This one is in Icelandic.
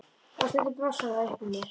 Og stundum blossar það upp í mér.